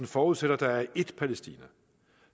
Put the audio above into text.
forudsætter at der er ét palæstina